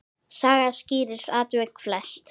Saga skýrir atvik flest.